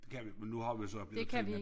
Kan vi men nu har vi jo så i Ukraine